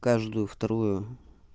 каждую вторую